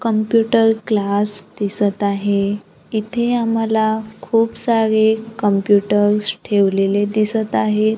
Computer class दिसत आहे इथे आम्हाला खूप सारे कम्प्युटर्स ठेवलेले दिसत आहेत.